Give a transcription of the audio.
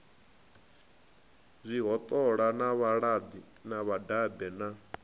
zwihoṱola na vhalidi vhadabe na